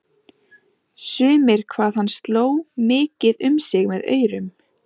Sumir hvað hann sló mikið um sig með aurum.